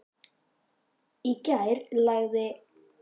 Í gær lagði????